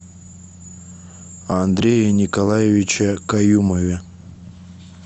андрее николаевиче каюмове